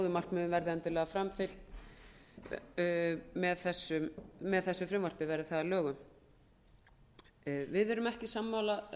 markmiðum verði endilega framfylgt með þessu frumvarpi verði það að lögum við erum ekki